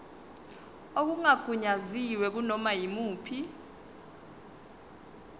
okungagunyaziwe kunoma yimuphi